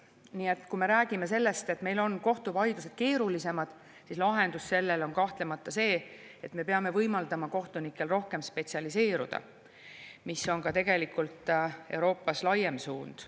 Nii et kui me räägime sellest, et meil on kohtuvaidlused keerulisemad, siis lahendus on kahtlemata see, et me peame võimaldama kohtunikel rohkem spetsialiseeruda, mis on ka tegelikult Euroopas laiem suund.